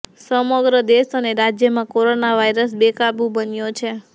સમગ્ર દેશ અને રાજયમાં કોરોના વાઈરસ બેકાબુ બન્યો છે